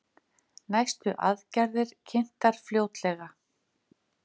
Næstu aðgerðir kynntar fljótlega